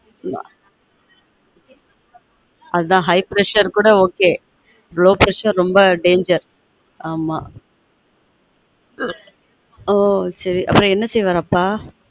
ஆமா அதான் high pressure கூட oklow pressure ரொம்ப danger ஆமா ஓச்சேரி அப்புறம் என்ன செய்யுவாரு அப்பா